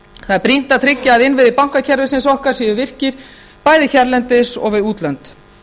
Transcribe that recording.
það er brýnt að tryggja að innviðir bankakerfisins okkar séu virkir bæði hérlendis og við útlönd